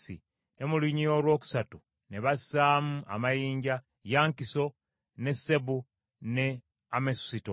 ne mu lunyiriri olwokusatu bassaamu amayinja: jasinta, ne ageti, ne amesusito;